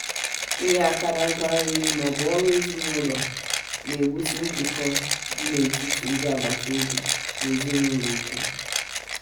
inye aka na ngwa nri ma ọ bụ ọrụ ụlọ na-ewusi njikọ dị n'etiti ndị agbata obi na ezinụlọ ike.